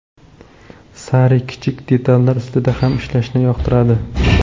Sarri kichik detallar ustida ham ishlashni yoqtiradi.